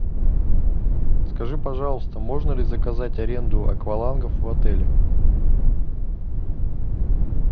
скажи пожалуйста можно ли заказать аренду аквалангов в отеле